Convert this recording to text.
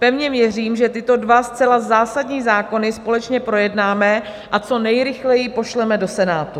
Pevně věřím, že tyto dva zcela zásadní zákony společně projednáme a co nejrychleji pošleme do Senátu.